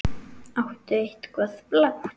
Áttu eitthvað blátt?